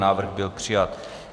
Návrh byl přijat.